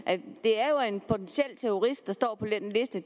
det er jo en potentiel terrorist der står på den liste